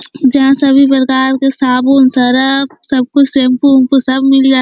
जहाँ सभी प्रकार के साबुन सर्फ़ सब कुछ सेम्पु वेम्पु सब मिल जाते --